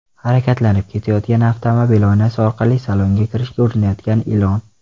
Harakatlanib ketayotgan avtomobil oynasi orqali salonga kirishga urinayotgan ilon.